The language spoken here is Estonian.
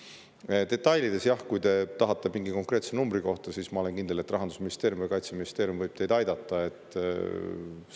Kui te tahate detailides kuulda mingi konkreetse numbri kohta, siis ma olen kindel, et Rahandusministeerium ja Kaitseministeerium võivad teid aidata.